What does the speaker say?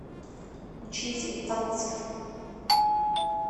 учитель танцев